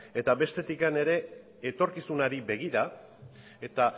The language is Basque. eta bestetik ere etorkizunari begira eta